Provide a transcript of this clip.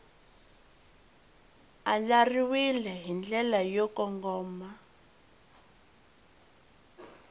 andlariwile hi ndlela yo kongoma